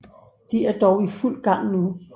De er dog i fuld gang nu